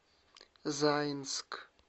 заинск